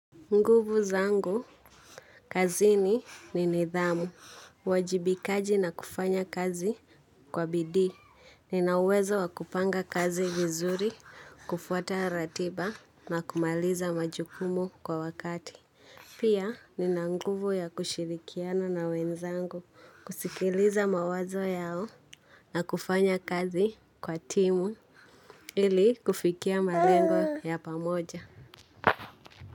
Nguvu zangu, kazini ni nidhamu, uajibikaji na kufanya kazi kwa bidii, nina uwezo wa kupanga kazi vizuri, kufuata ratiba na kumaliza majukumu kwa wakati. Pia, nina nguvu ya kushirikiana na wenzangu, kusikiliza mawazo yao na kufanya kazi kwa timu ili kufikia malengo ya pamoja.